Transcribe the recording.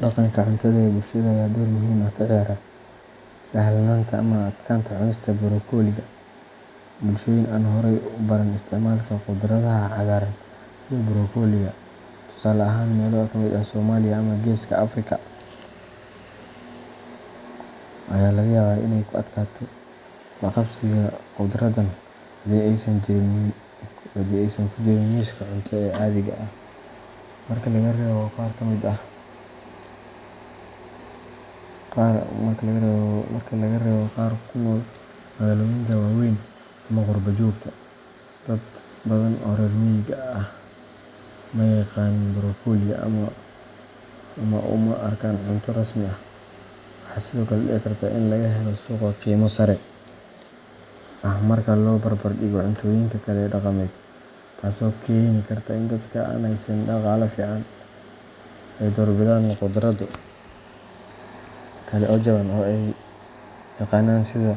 Dhaqanka cuntada ee bulshada ayaa door muhiim ah ka ciyaara sahlanaanta ama adkaanta cunista brokoliga. Bulshooyin aan horey ugu baran isticmaalka khudradaha cagaaran sida brokoliga, tusaale ahaan meelo ka mid ah Soomaaliya ama Geeska Afrika, ayaa laga yaabaa inay ku adkaato la-qabsiga khudraddan haddii aysan ku jirin miiska cunto ee caadiga ah. Marka laga reebo qaar ku nool magaalooyinka waaweyn ama qurbo-joogta, dad badan oo reer miyiga ah ma yaqaaniin brokoli, ama uma arkaan cunto rasmi ah. Waxaa sidoo kale dhici karta in laga helo suuqa qiimo sare ah marka loo barbardhigo cuntooyinka kale ee dhaqameed, taasoo keeni karta in dadka aan haysan dhaqaale fiican ay doorbidaan khudrado kale oo jaban oo ay yaqaanaan sida